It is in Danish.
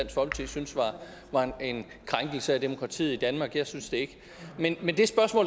var en krænkelse af demokratiet i danmark jeg synes det ikke men